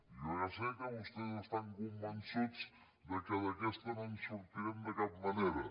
jo ja sé que vostès estan convençuts que d’aquesta no en sortirem de cap manera